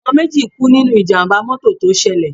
Àwọn méjì kú nínú Ìjàm̀bá mọ́tọ̀ tó ṣẹlẹ̀.